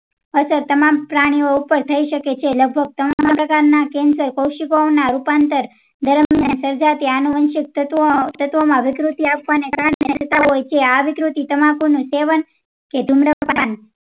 અસર તમામ પ્રાણી ઉપ્પર થઇ શકે છે લગભગ ત્રાનું ટકા ના cancer કોઉશીકાંઓના રૂપાંતરણ દરમિયાન તેમાંથી આનુવંશિક તત્વો તત્વોમાં વિકૃતિ આવવાં ને કારણે થતા હોય છે આ વિકૃતિ તમાકુનું સેવન કે ધુમ્રપાન